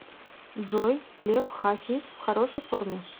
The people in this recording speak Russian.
джой лев хасис в хорошей форме